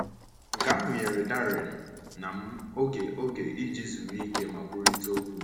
“Nke ahụ nyere Darren na m oge oge iji zuru ike ma kwurịta okwu.”